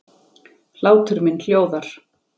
Hlátur minn hljóðar.